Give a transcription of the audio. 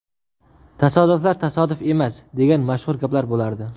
Tasodiflar tasodif emas, degan mashhur gap bo‘lardi.